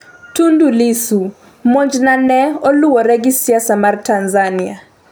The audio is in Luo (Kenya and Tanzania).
Tundu Lissu: monj na ne oluwore gi siasa mar Tanzania